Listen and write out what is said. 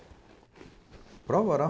– Prova oral?